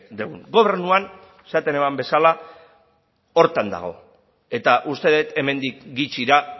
dugun gobernuan esaten nuen bezala horretan dago eta uste dut hemendik gutxira